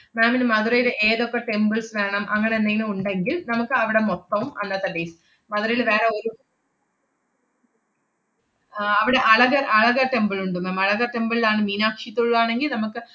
ma'am ന് മധുരേല് ഏതൊക്കെ temples വേണം അങ്ങനെന്തേലും ഉണ്ടെങ്കിൽ നമ്മക്കവടെ മൊത്തവും അന്നത്തെ day മധുരരേല് വേറെ ഒരു ആഹ് അവടെ അളക~ അളക~ temple ഉണ്ട് ma'am. അളക temple ലാണ് മീനാക്ഷി തൊഴുവാണെങ്കി നമ്മക്ക്,